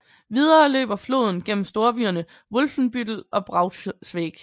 Videre løber floden gennem storbyerne Wolfenbüttel og Braunschweig